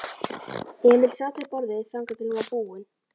Emil sat við borðið þangað til hún var búin.